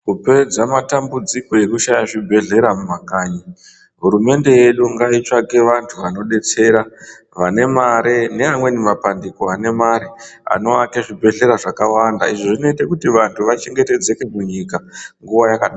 Kupedza matambudziko ekushaya zvibhedhlera mumakanyi hurumende yedu ngaitsvake vantu vanodetsera vane mari neamweni mapandiko ane mari anowake zvibhedhlera zvakawanda izvo zvinoita kuti vanhu vachengetedzeke munyika nguva yaka